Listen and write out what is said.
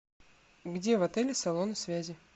где в отеле салоны связи